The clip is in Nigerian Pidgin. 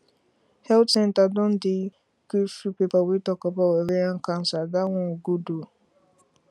health centre don dey give free paper wey talk about ovarian cancer that one good ooo